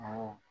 Awɔ